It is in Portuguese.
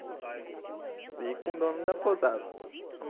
E com o dono da pousada.